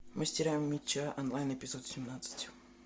мастера меча онлайн эпизод семнадцать